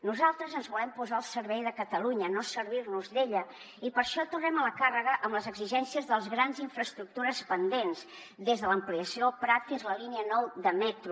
nosaltres ens volem posar al servei de catalunya no servir nos d’ella i per això tornem a la càrrega amb les exigències de les grans infraestructures pendents des de l’ampliació del prat fins a la línia nueve de metro